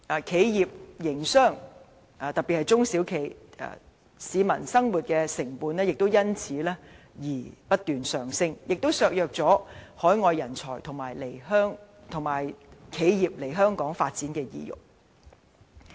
企業營商及市民生活的成本亦因而不斷上升，削弱了海外人才及企業來港發展的意欲。